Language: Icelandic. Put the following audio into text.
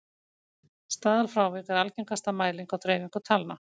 staðalfrávik er algengasta mæling á dreifingu talna